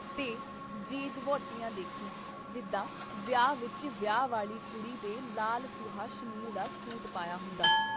ਤੇ ਜੀਜ - ਵਹੁਟੀਆਂ ਦੇਖੀਂ ਜਿੱਦਾਂ ਵਿਆਹ ਵਿੱਚ ਵਿਆਹ ਵਾਲੀ ਕੁੜੀ ਦੇ ਲਾਲ ਸੂਹਾ ਸ਼ਨੀਲ ਦਾ ਸੂਟ ਪਾਇਆ ਹੁੰਦਾ।